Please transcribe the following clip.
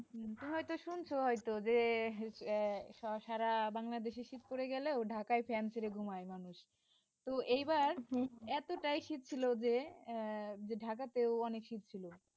তুমি হয়তো শুনছো হয়তো যে আহ সারা বাংলাদেশে শীত পড়ে গেলেও ঢাকায় ফ্যান ছেড়ে ঘুমায় মানুষ তো এইবার এতটাই শীত ছিল যে আহ যে ঢাকাতেও অনেক শীত ছিল।